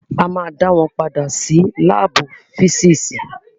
A máa dá wọn padà sí lábù físìsì.